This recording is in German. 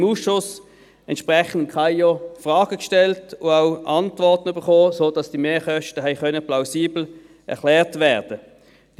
Im Ausschuss haben wir dem KAIO entsprechend Fragen gestellt und auch Antworten bekommen, wobei die Mehrkosten plausibel erklärt werden konnten.